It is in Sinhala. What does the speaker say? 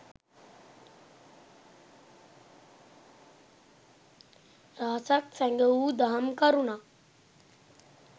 රහසක්, සැඟ වූ දහම් කරුණක්